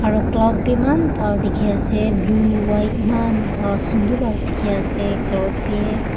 aro cloud bi maan bhal dikhi ase blue white bhal sundor pra dikhi ase cloud bi.